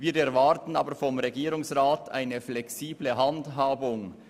Wir erwarten aber vom Regierungsrat eine flexible Handhabung.